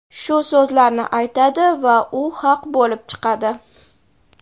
shu so‘zlarni aytadi va u haq bo‘lib chiqadi.